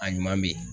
A ɲuman bɛ yen